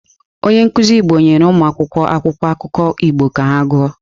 Onye nkuzi Igbo nyere ụmụakwụkwọ akwụkwọ akụkọ Igbo ka ha gụọ.